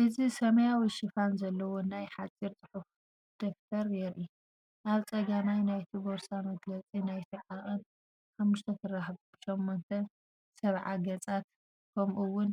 እዚ ሰማያዊ ሽፋን ዘለዎ ናይ ሓጺር ጽሑፍ ደፍተር የርኢ። ኣብ ጸጋማይ ናይቲ ቦርሳ መግለጺ ናይቲ ዓቐን፡ 5" x 8"፡ 70 ገጻት፡ ከምኡ'ውን